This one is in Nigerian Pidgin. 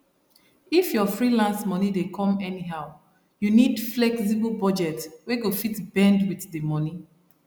if your freelance money dey come anyhow you need flexible budget wey go fit bend with the money